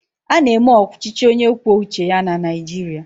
Ána eme ọchịchị onye kwuo uche ya na Naịjirịa